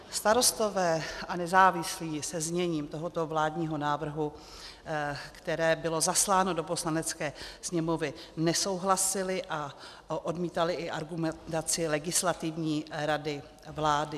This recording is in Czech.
Starostové a nezávislí se zněním tohoto vládního návrhu, které bylo zasláno do Poslanecké sněmovny, nesouhlasili a odmítali i argumentaci Legislativní rady vlády.